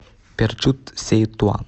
перчут сеи туан